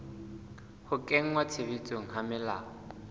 ho kenngwa tshebetsong ha melao